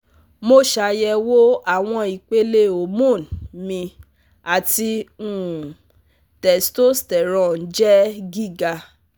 Mo ṣayẹwo awọn ipele hormone mi ati um testosterone jẹ giga